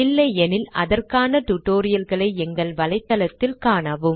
இல்லையெனில் அதற்கான tutorial களை எங்கள் வலைத்தளத்தில் காணவும்